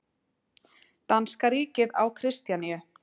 Danska ríkið á Kristjaníu